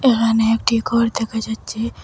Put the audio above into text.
এখানে একটি ঘর দেখা যাচ্ছে।